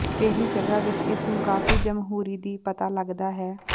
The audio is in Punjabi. ਪਹਿਲੀ ਜਗ੍ਹਾ ਵਿੱਚ ਇਸ ਨੂੰ ਕਾਫੀ ਜਮਹੂਰੀ ਦੀ ਪਤਾ ਲੱਗਦਾ ਹੈ